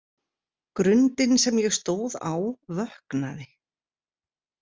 Grundin sem ég stóð á vöknaði.